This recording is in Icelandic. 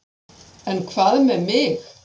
En hvað með mig?